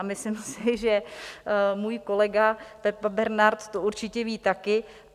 A myslím si, že můj kolega Pepa Bernard to určitě ví taky.